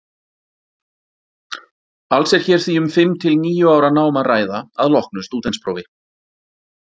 Alls er hér því um fimm til níu ára nám að ræða að loknu stúdentsprófi.